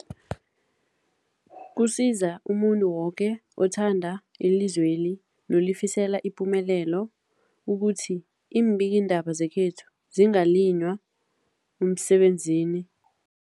Kusiza umuntu woke othanda ilizweli nolifisela ipumelelo ukuthi iimbikiindaba zekhethu zisekelwe, zingaliywa emsebenzini